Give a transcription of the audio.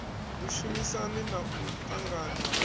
vhushumisani na u ṱangana ha